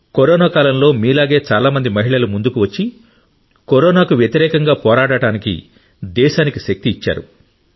corona కాలంలో మీలాగే చాలా మంది మహిళలు ముందుకు వచ్చి కరోనాకు వ్యతిరేకంగా పోరాడటానికి దేశానికి శక్తి ఇచ్చారు